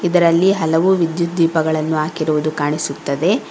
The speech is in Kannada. ಇದರಲ್ಲಿ ಹಲವು ವಿದ್ಯುತ್ ದೀಪಗಳನ್ನು ಹಾಕಿರುವುದು ಕಾಣಿಸುತ್ತದೆ.